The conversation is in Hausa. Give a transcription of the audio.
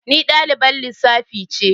Ni dalibar lissafi ce.